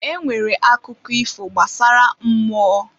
E nwere akụkọ ifo gbasara mmụọ.